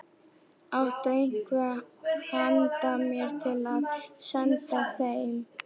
Áttu eitthvað handa mér til að senda þeim?